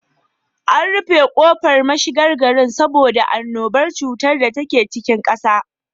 An rufe kofar mashigan gari saboda annuban cuta dake cikin ƙasa.